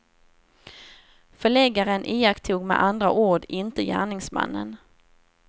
Förläggaren iakttog med andra ord inte gärningsmännen.